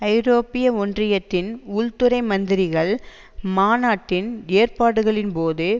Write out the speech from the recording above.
ஐரோப்பிய ஒன்றியத்தின் உள்துறை மந்திரிகள் மாநாட்டின் ஏற்பாடுகளின் போது